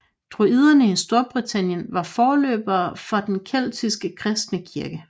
Druiderne i Storbritannien var forløberne for den keltiske kristne kirke